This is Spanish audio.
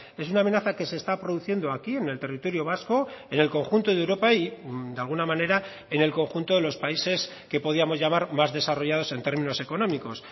es una amenaza que se está produciendo aquí en el territorio vasco en el conjunto de europa y de alguna manera en el conjunto de los países que podíamos llamar más desarrollados en términos económicos